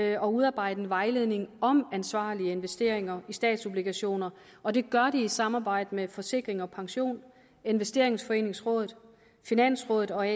at udarbejde en vejledning om ansvarlige investeringer i statsobligationer og det gør de i samarbejde med forsikring pension investeringsforeningsrådet finansrådet og